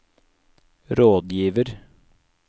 rådgiver